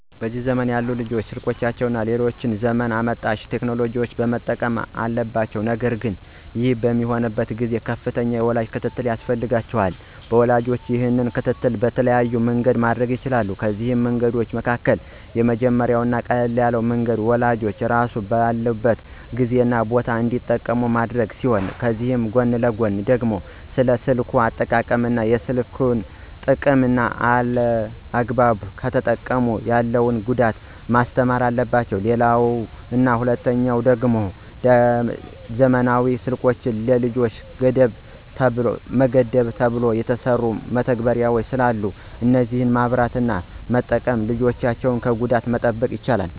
በዚህ ዘመን ያሉ ልጆች ስልኮችን እና ሌሎች ዘመን አመጣሽ ቴክኖሎጂዎችን መጠቀም አለባቸው ነገር ግን ይህ በሚሆንበት ጊዜ ከፍተኛ የወላጅ ክትትል ያስፈልጋቸዋል። ወላጅም ይህንን ክትትል በተለያየ መንገድ ማድረግ ይችላል፤ ከነዚህ መንገዶች መካከል የመጀመሪያው እና ቀላሉ መንገድ ወላጅ ራሱ ባለበት ጊዜ እና ቦታ እንዲጠቀሙ ማድረግ ሲሆን ከዚህ ጎን ለጎን ደግሞ ስለ ስልክ አጠቃቀም እና የስልክን ጥቅምና አላግባብ ከተጠቀሙ ያለውን ጉዳት ማስተማር አለባቸው። ሌላው እና ሁለተኛው መንገድ ደሞ ዘመናዊ ስልኮች ለልጆች ገደብ ተብለው የተሰሩ መተግበሪያዎች አሉ እነዛን በማብራት እና በመጠቀም ልጆችን ከጉዳት መጠበቅ ይቻላል።